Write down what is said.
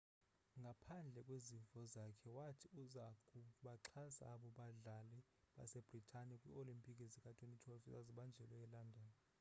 ngaphandle kwezimvo zakhe wathi uza kubaxhasa abo badlali basebritane kwii-olimpiki zika-2012 ezazibanjelwe elondon